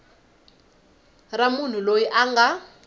ra munhu loyi a nga